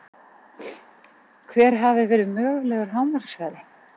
Hver hafi verið mögulegur hámarkshraði?